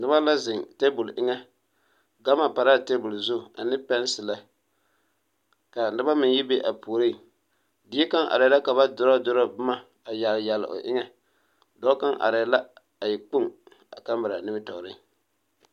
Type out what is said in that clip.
Noba la zeŋ teebul eŋɛ ɡama pare la a teebul zu ane pɛɛnsilɛ ka noba meŋ yi be a puriŋ die kaŋ arɛɛ la ka ba durɔɔdurɔɔ boma a yaɡeleyaɡele o eŋɛ dɔɔ kaŋ arɛɛ la a e kpoŋ a kamera nimitɔɔreŋ.